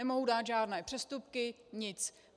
Nemohou dát žádné přestupky, nic.